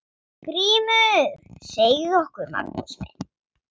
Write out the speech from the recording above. GRÍMUR: Segðu okkur, Magnús minn!